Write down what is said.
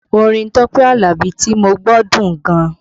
Orin Tọ́pẹ́ Alabi tí mo gbọ́ dùn gan